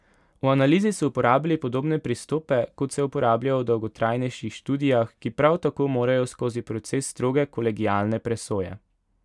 V analizi so uporabili podobne pristope, kot se uporabljajo v dolgotrajnejših študijah, ki prav tako morajo skozi proces stroge kolegialne presoje.